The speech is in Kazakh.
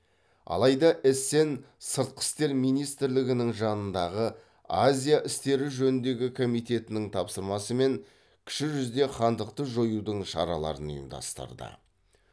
алайда эссен сыртқы істер министрлігінің жанындағы азия істері жөніндегі комитетінің тапсырмасымен кіші жүзде хандықты жоюдың шараларын ұйымдастырды